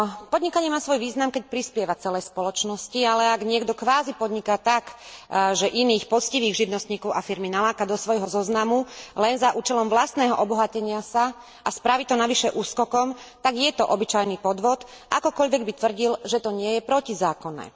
Podnikanie má svoj význam, keď prispieva celej spoločnosti, ale ak niekto kvázi podniká tak, že iných poctivých živnostníkov a firmy naláka do svojho zoznamu len za účelom vlastného obohatenia sa a spraví to navyše úskokom, tak je to obyčajný podvod, akokoľvek by tvrdil, že to nie je protizákonné.